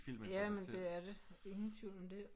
Jamen det er det. Ingen tvivl om det